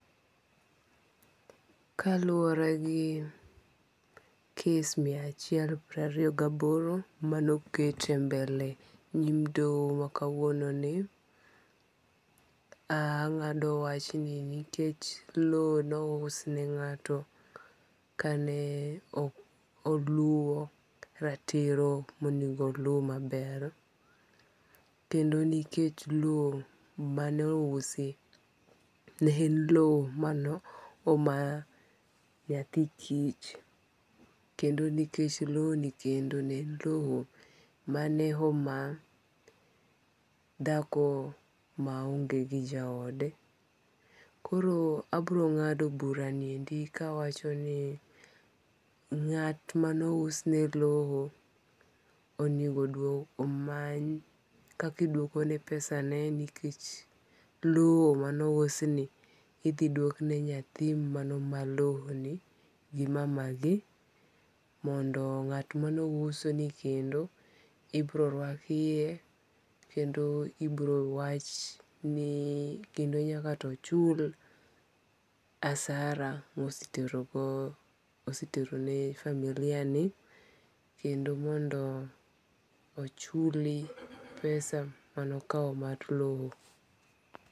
Kaluwore gi kes mia achiel piero ariyo gi aboro mane oket e mbele nyim doho ma kawuono ni, ang'ado wachni nikech low no us ne ng'ato kane ok oluwo ratiro monengo olu maber. Kendo nikech low mane ousi ne en low mano oma nyathi kich. Kendo nikech low kendo ne en low mane oma dhako ma onge gi jaode. Koro abiro ng'ado bura ni endi kawacho ni ng'at mano ousne low onego omany kakiduoko ne pesane nikech low mane ous ni idhi duok ne nyathi mane oma low ni gi mamagi mondo ng'at mane ouso ni kendo ibiro rwak iye kendo ibiro wach no kendo nyaka oto chul harasa mosetero ne familia ni. Kendo mondo ochul pesa manokawo mar low.